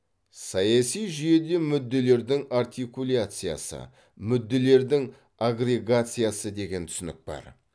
саяси жүйеде мүдделердің артикуляциясы мүдделердің агрегациясы деген түсінік бар